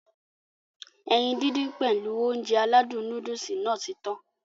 Ẹyin dídín pèlu Ounjẹ aládùn nóódùsì Nàá ti tan